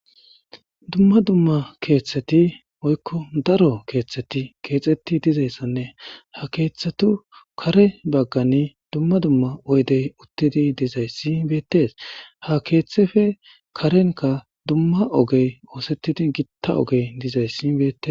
Dumma dumma keeththeti oykko daro keeththeti keexxeti dizayssanne ha keeththetu kare baggani dumma dumma oydey uttidi dizaysi beetes ha keeththefe karenka dumma ogey oosettidi gitta ogey dizays beetes.